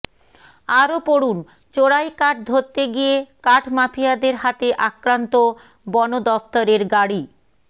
আরও পড়ুন চোরাই কাঠ ধরতে গিয়ে কাঠ মাফিয়াদের হাতে আক্রান্ত বন দফতরের গাড়ি